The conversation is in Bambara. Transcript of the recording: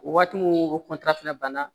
O waati mun o fana banna